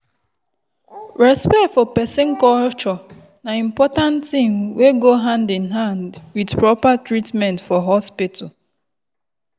respect for person culture na important thing wey go hand in hand with proper treatment for hospital.